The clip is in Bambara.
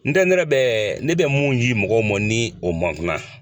ne yɛrɛ bɛ ne bɛ mun yi mɔgɔw mɔn ni o man kunan.